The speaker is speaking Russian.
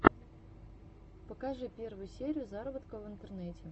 покажи первую серию заработка в интернете